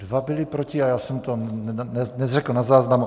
Dva byli proti a já jsem to neřekl na záznam.